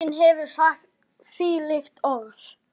Enginn hefur sagt þvílík orð.